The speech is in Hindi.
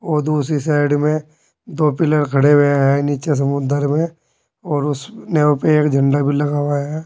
और दूसरी साइड में दो पीलर खड़े हुए हैं नीचे समुद्र में और उसमें एक झंडा भी लगा हुआ है।